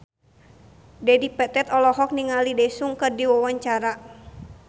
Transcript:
Dedi Petet olohok ningali Daesung keur diwawancara